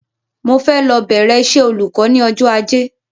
Mo fẹ́ lọ bẹ̀rẹ iṣẹ́ olùkọ́ ní ọjọ́ Ajé